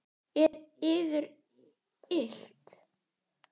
Er yður illt?